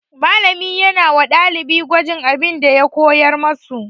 Malami yana wa ɗalibai gwajin abin da ya koyar musu.